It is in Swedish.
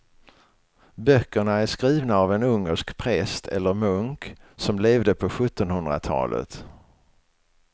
Böckerna är skrivna av en ungersk präst eller munk som levde på sjuttonhundratalet.